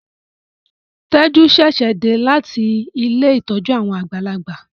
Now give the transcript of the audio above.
Teju ṣẹṣẹ dé láti Ilé ìtọjú àwọn àgbàlagbà.